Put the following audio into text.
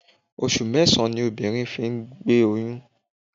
Oṣù mẹ́sàn-án ni obìnrin fi ń gbóyún.